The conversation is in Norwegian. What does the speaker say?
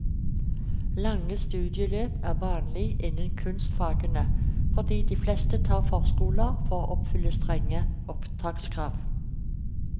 Lange studieløp er vanlig innen kunstfagene fordi de fleste tar forskoler for å oppfylle strenge opptakskrav.